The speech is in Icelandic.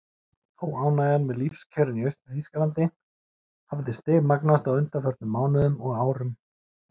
Óánægjan með lífskjörin í Austur-Þýskalandi hafði stigmagnast á undanförnum mánuðum og árum.